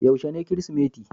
Yaushe ne kirisimeti?